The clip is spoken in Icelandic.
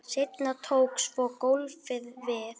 Seinna tók svo golfið við.